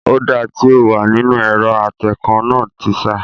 Ọ̀dà tí ó wà nínú ẹ̀rọ atẹǹkan náà ti sá